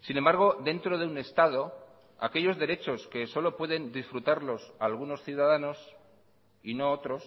sin embargo dentro de un estado aquellos derechos que solo pueden disfrutarlos algunos ciudadanos y no otros